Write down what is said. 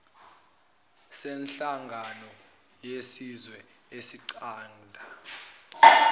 senhlangano yezizwe esinqanda